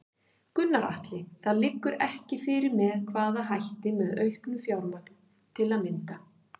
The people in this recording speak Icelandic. Gunnar Atli: Það liggur ekki fyrir með hvaða hætti, með auknu fjármagn til að mynda?